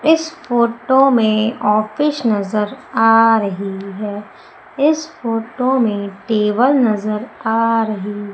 इस फोटो में ऑफिस नजर आ रही है इस फोटो में टेबल नजर आ रही--